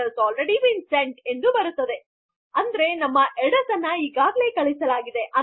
ನಂತರ ಒಂದು ಎಚ್ಚರಿಕೆ ಅಂದರೆ ನಮ್ಮ ಹೆಡ್ಡರ್ಸ್ ಅನ್ನು ಈಗಾಗಲೆ ಕಳುಹಿಸಲಾಗಿದೆ